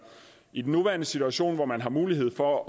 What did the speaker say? i den nuværende situation hvor man har mulighed for